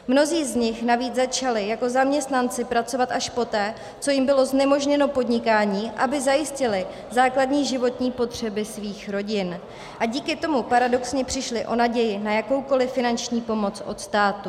Mnozí z nich navíc začali jako zaměstnanci pracovat až poté, co jim bylo znemožněno podnikání, aby zajistili základní životní potřeby svých rodin, a díky tomu paradoxně přišli o naději na jakoukoli finanční pomoc od státu.